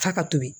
F'a ka to yen